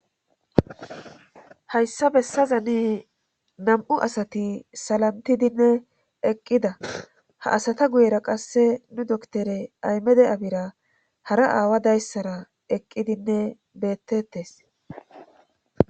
hayssa bessazani nam7u asati salantidinne eqqida ha asata guyera qasse nu doktore aymede abira hara aawa dayssara eqqidinne beettettes